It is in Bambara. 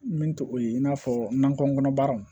Min to o ye in'a fɔ nakɔ kɔnɔ baaraw